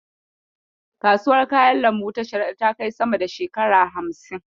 Kasuwar kayan lambu ta Sharaɗa ta kai sama da shekara hamsin.